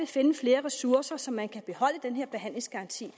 finde flere ressourcer så man kan beholde den her behandlingsgaranti